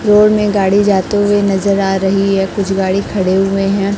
Road में गाड़ी जाते हुए नजर आ रही है कुछ गाड़ी खड़े हुए हैं।